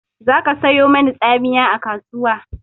Za ka sayo mani tsamiya a kasuwa!